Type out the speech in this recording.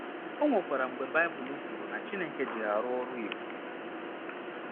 O nwekwara mgbe Baịbụl kwuru na Chineke ji ha rụọ ọrụ ebube.